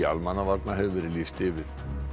almannavarna hefur verið lýst yfir